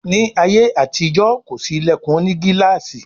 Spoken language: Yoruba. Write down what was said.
Ní àyè àti ìjọ kọ sí ilẹkùn òní gilaasi.